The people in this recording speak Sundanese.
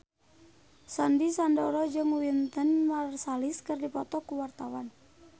Sandy Sandoro jeung Wynton Marsalis keur dipoto ku wartawan